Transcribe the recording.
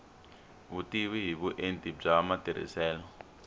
vutivi hi vuenti bya matirhiselo